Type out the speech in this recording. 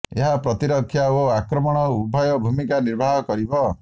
ଏହା ପ୍ରତିରକ୍ଷା ଓ ଆକ୍ରମଣ ଉଭୟ ଭୂମିକା ନିର୍ବାହ କରିବ